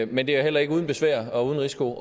men det er heller ikke uden besvær og uden risiko